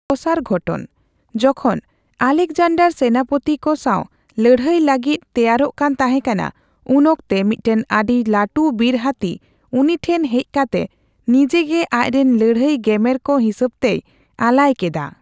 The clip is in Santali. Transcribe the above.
ᱫᱚᱥᱟᱨ ᱜᱷᱚᱴᱚᱱ, ᱡᱚᱠᱷᱚᱱ ᱟᱞᱮᱠᱡᱟᱱᱰᱟᱨ ᱥᱮᱱᱟᱯᱚᱛᱤ ᱠᱚ ᱥᱟᱣ ᱞᱟᱹᱲᱦᱟᱹᱭ ᱞᱟᱹᱜᱤᱫ ᱛᱮᱭᱟᱨᱚᱜ ᱠᱟᱱ ᱛᱟᱦᱮᱸᱠᱟᱱᱟ, ᱩᱱᱚᱠᱛᱮ ᱢᱤᱫᱴᱮᱱ ᱟᱹᱰᱤ ᱞᱟᱴᱩ ᱵᱤᱨ ᱦᱟᱛᱤ ᱩᱱᱤ ᱴᱷᱮᱱ ᱦᱮᱡ ᱠᱟᱛᱮ ᱱᱤᱡᱮᱜᱮ ᱟᱪᱨᱮᱱ ᱞᱟᱹᱲᱦᱟᱹᱭ ᱜᱮᱢᱮᱨ ᱠᱚ ᱦᱤᱥᱟᱹᱵᱛᱮᱭ ᱟᱞᱟᱭ ᱠᱮᱫᱟ ᱾